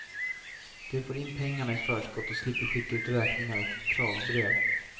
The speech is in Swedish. De får in pengarna i förskott och slipper skicka ut räkningar och kravbrev.